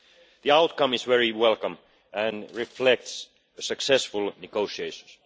The outcome is very welcome and reflects successful negotiations.